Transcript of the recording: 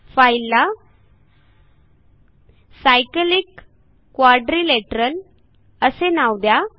फाईलला cyclic quadrilateral असे नाव द्या